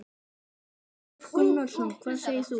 Kristján Már Unnarsson: Hvað segir þú?